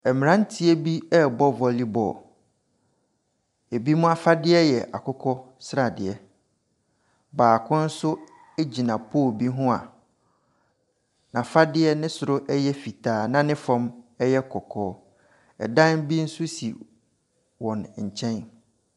Mmeranteɛ bi ɛrebɔ volleyball. Binom afadeɛ yɛ akokɔsradeɛ, baako gyina pole bi ho a n’afadeɛ ne soro yɛ fitaa na ne fam yɛ kɔkɔɔ. dan bi nso si wɔn nkyɛn.